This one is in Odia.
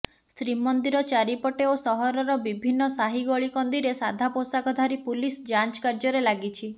ଶ୍ରୀମନ୍ଦିର ଚାରିପଟେ ଓ ସହରର ବିଭିନ୍ନ ସାହି ଗଳିକନ୍ଦିରେ ସାଧା ପୋଷାକଧାରୀ ପୁଲିସ ଯାଞ୍ଚ କାର୍ଯ୍ୟରେ ଲାଗିଛି